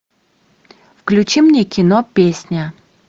включи мне кино песня